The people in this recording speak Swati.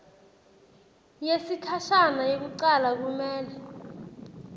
yesikhashana yekucala kumele